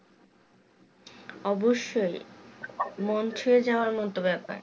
অবশ্যই মন ছুঁয়ে যাওয়ার মতো ব্যাপার